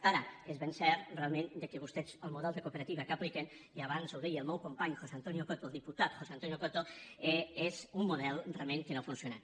ara és ben cert realment que vostès el model de cooperativa que apliquen i abans ho deia el meu company josé antonio coto el diputat josé antonio coto és un model realment que no ha funcionat